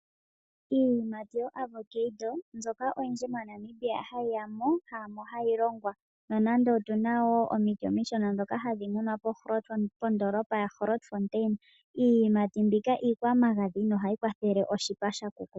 Iiyimati yoAvoccado mbyoka oyindji moNamibia hayi ya mo haamo hayi longwa, nonando otu na wo omiti omishona ndhoka hadhi munwa pondoolopa yaShaanda. iiyimati mbika iikwamagadhi nohayi kwathele oshipa sha kukuta.